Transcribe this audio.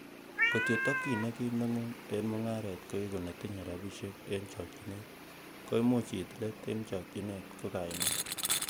Ng'ot ko tokyin nekim neng'ung en mung'aret ko igu netinye rabisiek en chokchinet, koimuch iit let en chokchinet ko kaimet.